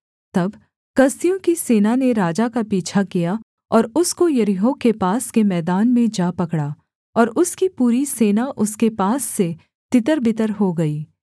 तब कसदियों की सेना ने राजा का पीछा किया और उसको यरीहो के पास के मैदान में जा पकड़ा और उसकी पूरी सेना उसके पास से तितरबितर हो गई